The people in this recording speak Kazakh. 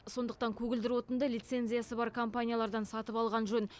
сондықтан көгілдір отынды лицензиясы бар компаниялардан сатып алған жөн